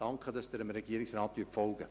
Danke, dass Sie dem Regierungsrat folgen!